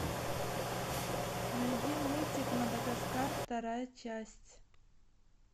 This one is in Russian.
найди мультик мадагаскар вторая часть